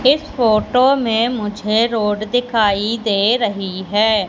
इस फोटो में मुझे रोड दिखाई दे रही है।